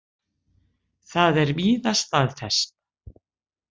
Það er víða staðfest.